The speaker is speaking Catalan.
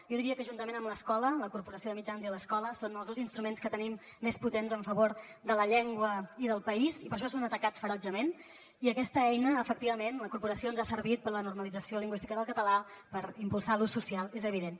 jo diria que juntament amb l’escola la corporació de mitjans i l’escola són els dos instruments que tenim més potents en favor de la llengua i del país i per això són atacats ferotgement i aquesta eina efectivament la corporació ens ha servit per a la normalització lingüística del català per impulsar ne l’ús social és evident